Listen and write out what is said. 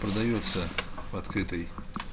продаётся открытой